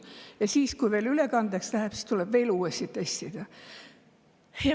Ja siis, kui ülekandeks läheb, tuleb uuesti testida.